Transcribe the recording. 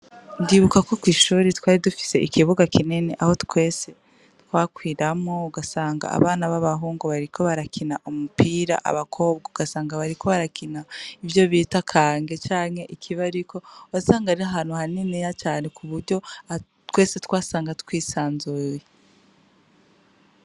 Ndibuka ko kw'ishure twari dufise ikibuga kinini aho twese twakiniramwo ugasanga abana b'abahungu bariko barakina umupira abakobwa ugasanga bariko barakina ivyo bita kange canke ikibariko. Wasanga ari ahantu haniniya cane ku buryo twese twasanga twisanzuye.